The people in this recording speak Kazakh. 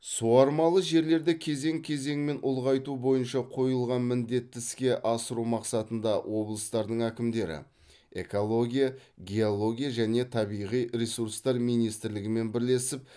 суармалы жерлерді кезең кезеңмен ұлғайту бойынша қойылған міндетті іске асыру мақсатында облыстардың әкімдіктері экология геология және табиғи ресурстар министрлігімен бірлесіп